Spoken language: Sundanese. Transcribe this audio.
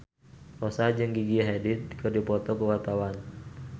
Rossa jeung Gigi Hadid keur dipoto ku wartawan